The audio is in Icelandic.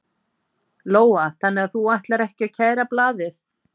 Lóa: Þannig að þú ætlar ekki að kæra blaðið?